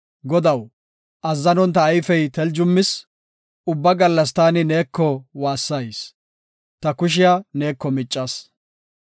Godaw, azzanon ta ayfey teljumis; Ubba gallas taani neeko waassayis; ta kushiya neeko miccas.